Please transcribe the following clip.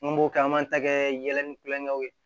N b'o kɛ an b'an ta kɛ yɛlɛnni kulɔŋɛw ye